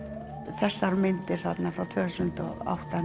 þessar myndir frá tvö þúsund og átta